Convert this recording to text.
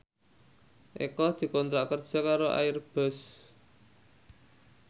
Eko dikontrak kerja karo Airbus